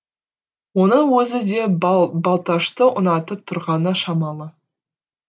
оның өзі де балташты ұнатып тұрғаны шамалы